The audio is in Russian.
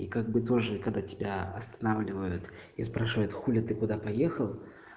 и как бы тоже когда тебя останавливают и спрашивают хули ты куда поехал